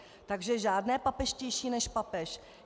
Takže žádné papežštější než papež.